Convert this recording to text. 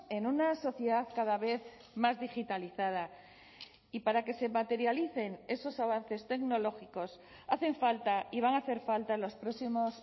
en una sociedad cada vez más digitalizada y para que se materialicen esos avances tecnológicos hacen falta y van a hacer falta en los próximos